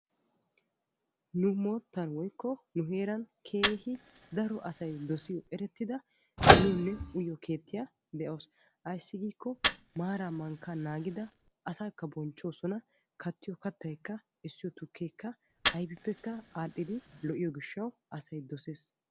Nu heeran keehi daro asay dosiyo miyonne uyiyo keettay de'ees ayssi giikko maara mankka naagidda asaakka bonchchosonna kattiyo kattaykka tukekka lo'ees.